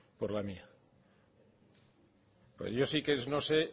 por la mía pero yo sí que no sé